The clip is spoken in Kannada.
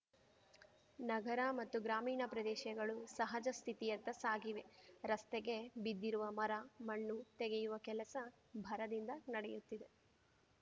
ನಗರ ಮತ್ತು ಗ್ರಾಮೀಣ ಪ್ರದೇಶಗಳು ಸಹಜ ಸ್ಥಿತಿಯತ್ತ ಸಾಗಿವೆ ರಸ್ತೆಗೆ ಬಿದ್ದಿರುವ ಮರ ಮಣ್ಣು ತೆಗೆಯುವ ಕೆಲಸ ಭರದಿಂದ ನಡೆಯುತ್ತಿದೆ